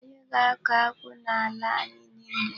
Anyị ga-akọ akwụ n'ala anyị niile.